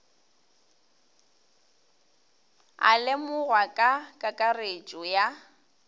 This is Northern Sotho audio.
a lemogwago ka kakaretšo ya